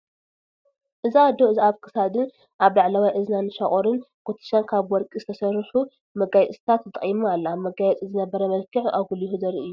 እዛ ኣዶ እዚ ኣብ ክሳዳን ኣብ ላዕላዋይ እዝናን ሻቁርን፣ ኩትሻን ካብ ወቀርቂ ዝተሰርሑ መጋፅታት ተጠቂማ ኣላ መጋየፂ ዝነበረ መልክዕ ኣጉዕሁ ዘርኢ እዩ።